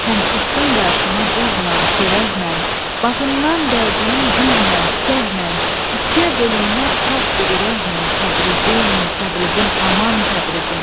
Sən çıxdın qarıma duzla, çörəklə, bağından dərdim gülən çiçəklə, ikiyə bölünməz saf bir ürəklə Təbrizim, Təbrizim, aman Təbrizim!